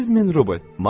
8000 rubl.